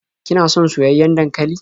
Kina son soyayyen dankali?